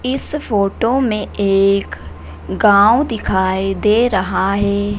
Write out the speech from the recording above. इस फोटो में एक गांव दिखाई दे रहा है।